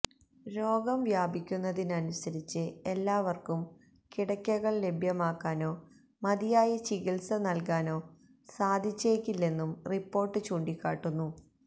രോഗം വ്യാപിക്കുന്നതിനനുസരിച്ച് എല്ലാവര്ക്കും കിടക്കകള് ലഭ്യമാക്കാനോ മതിയായ ചികിത്സ നല്കാനോ സാധിച്ചേക്കില്ലെന്നും റിപ്പോര്ട്ട് ചൂണ്ടിക്കാട്ടുന്നു